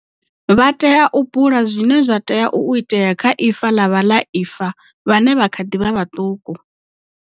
Vha tea u bula zwine zwa tea u itea kha ifa ḽa vhaḽaifa vhane vha kha ḓi vha vhaṱuku.